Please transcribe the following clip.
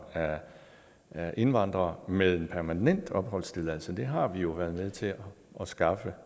af indvandrere med en permanent opholdstilladelse det har vi jo været med til at skaffe